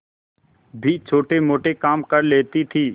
भी छोटेमोटे काम कर लेती थी